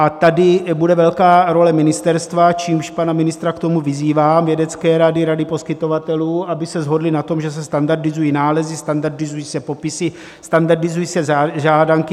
A tady bude velká role ministerstva, čímž pana ministra k tomu vyzývám, Vědecké rady, Rady poskytovatelů, aby se shodli na tom, že se standardizují nálezy, standardizují se popisy, standardizují se žádanky.